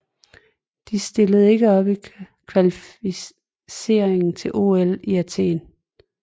De stillede ikke op i kvalificeringen til OL i Athen